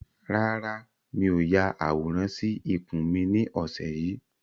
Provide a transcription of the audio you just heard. Rárá, mi ò ya àwòrán sì ikùn mi ni ọ̀sẹ̀ yìí